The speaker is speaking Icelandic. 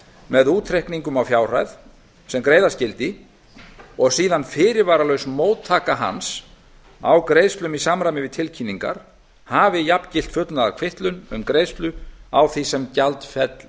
með útreikningum á fjárhæð sem greiða skyldi og síðan fyrirvaralaus móttaka hans á greiðslum í samræmi við tilkynningar hafi jafngilt fullnaðarkvittun um greiðslu á því sem gjaldféll